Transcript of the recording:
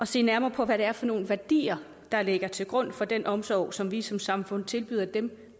se nærmere på hvad det er for nogle værdier der ligger til grund for den omsorg som vi som samfund tilbyder dem